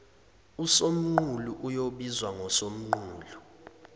usomqulu oyobizwa ngosomqulu